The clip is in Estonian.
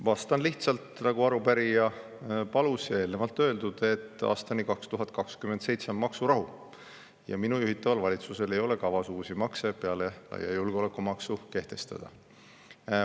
Vastan lihtsalt, nagu arupärija palus: eelnevalt on juba öeldud, et aastani 2027 on maksurahu ja minu juhitaval valitsusel ei ole kavas uusi makse peale laia julgeolekumaksu kehtestada.